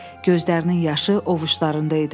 Gözlərinin yaşı ovucularında idi.